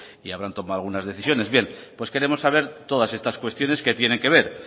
y habrán tomado algunas decisiones bien pues queremos saber todas estas cuestiones que tienen que ver